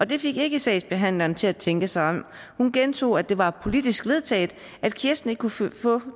det fik ikke sagsbehandleren til at tænke sig om hun gentog at det var politisk vedtaget at kirsten ikke kunne få